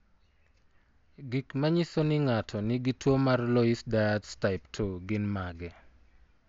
Gik manyiso ni ng'ato nigi tuwo mar Loeys Dietz type 2 gin mage?